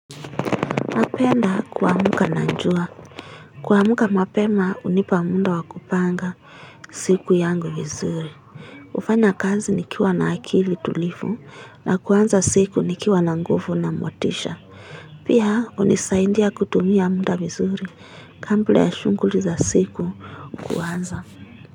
Napenda kuamka na jua Kuamka mapema hunipa muda wa kupanga siku yangu vizuri hufanya kazi nikiwa na akili tulivu na kuanza siku nikiwa na nguvu na motisha Pia hunisaidia kutumia muda vizuri kabla ya shughuli za siku kiwanda.